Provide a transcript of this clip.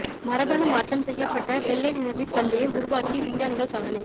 மரபணு மாற்றம் செய்யப்பட்ட வெள்ளை நிறமிப் பல்லியை உருவாக்கி விஞ்ஞானிகள் சாதனை